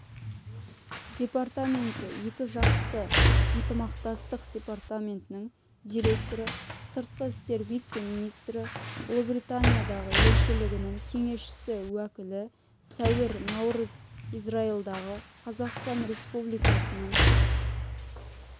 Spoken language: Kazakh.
департаменті екіжақты ынтымақтастық департаментінің директоры сыртқы істер вице-министрі ұлыбританиядағы елшілігінің кеңесші-уәкілі сәуір наурыз израильдағы қазақстан республикасының